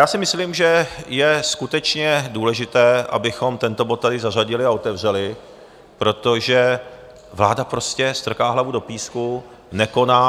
Já si myslím, že je skutečně důležité, abychom tento bod tady zařadili a otevřeli, protože vláda prostě strká hlavu do písku, nekoná